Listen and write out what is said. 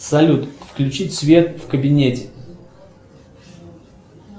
салют включить свет в кабинете